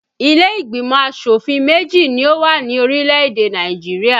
Ilé ìgbìmọ̀ asòfin méjì ni ó wà ní orílè-èdè Nàìjirià